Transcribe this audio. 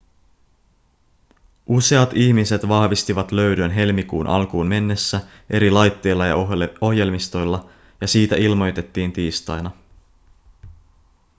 useat ihmiset vahvistivat löydön helmikuun alkuun mennessä eri laitteilla ja ohjelmistoilla ja siitä ilmoitettiin tiistaina